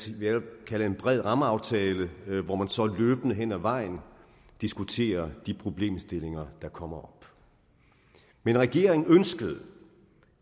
vil kalde en bred rammeaftale hvor man så løbende hen ad vejen diskuterer de problemstillinger der kommer op men regeringen ønskede